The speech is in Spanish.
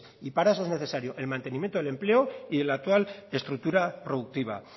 y para eso es necesario el mantenimiento del empleo y de la actual estructura productiva